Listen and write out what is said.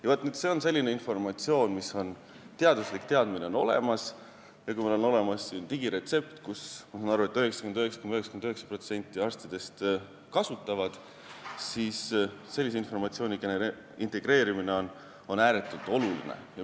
Ja vaat, see on selline informatsioon, mille kohta teaduslik teadmine on olemas ja kui meil on olemas siin digiretsept, mida, ma saan aru, 99,99% arstidest kasutavad, siis sellise informatsiooni integreerimine on ääretult oluline.